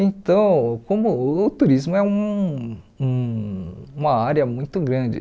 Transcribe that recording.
Então, como o turismo é um uma área muito grande.